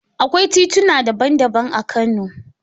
Akwai tituna daban-daban a Kano.